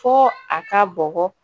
Fo a ka bɔgɔ